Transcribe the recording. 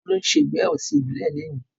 olu ǹ se ìgbéyàwó ti ìbílè lọni.